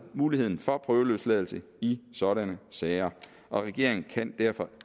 muligheden for prøveløsladelse i sådanne sager og regeringen kan derfor